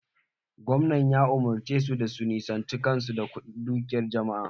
Gwamnan ya umurce su da su nisanta kan su daga dukiyan jama'a!